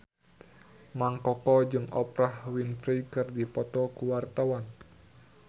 Mang Koko jeung Oprah Winfrey keur dipoto ku wartawan